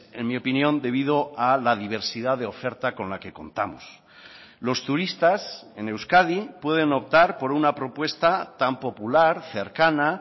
en mi opinión debido a la diversidad de oferta con la que contamos los turistas en euskadi pueden optar por una propuesta tan popular cercana